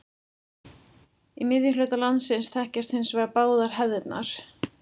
Í miðhluta landsins þekkjast hins vegar báðar hefðirnar.